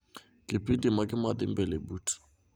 Kipindi mage madhii mbele but